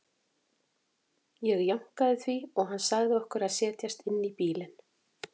Ég jánkaði því og hann sagði okkur að setjast inn í bílinn.